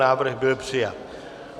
Návrh byl přijat.